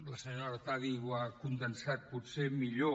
la senyora artadi ho ha condensat potser millor